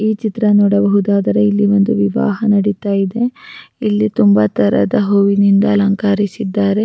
ಈ ಚಿತ್ರ ನೋಡಬಹುದಾದಾದ್ರೆ ಇಲ್ಲಿ ಒಂದು ವಿವಾಹ ನಡೀತಾ ಇದೆ ಇಲ್ಲಿ ತುಂಬಾ ತರದ ಹೂವಿನಿಂದ ಅಲಂಕರಿಸಿದ್ದಾರೆ.